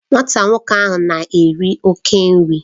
Nwata nwoke na-eri oke nri